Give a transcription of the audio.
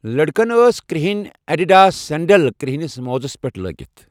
لٔڑکَن ٲس کِرہِنۍ ایڈیڈاس سینڈل کِرہِنِس موزَس پیٹھ لگٔومٕژ۔